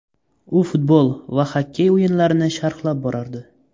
U futbol va xokkey o‘yinlarini sharhlab borardi.